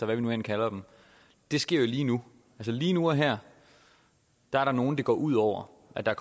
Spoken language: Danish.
hvad vi nu end kalder det sker lige nu lige nu og her er der nogen det går ud over at der